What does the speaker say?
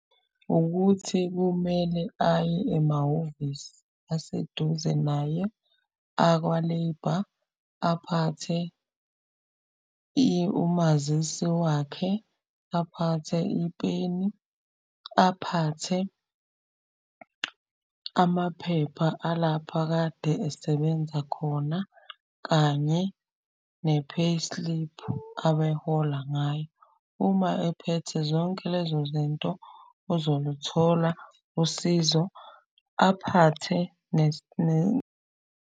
Ukuthi kumele aye emahhovisi aseduze naye akwa-Labour. Aphathe umazisi wakhe, aphathe ipeni, aphathe amaphepha alapha akade esebenza khona kanye ne-payslip abehola ngayo. Uma ephethe zonke lezo zinto uzoluthola usizo, aphathe .